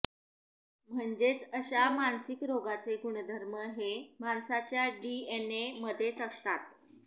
म्हणजेच अश्या मानसिक रोगाचे गुणधर्म हे माणसाच्या डीएनए मध्येच असतात